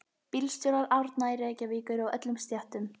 Bílstjórar Árna í Reykjavík eru af öllum stéttum.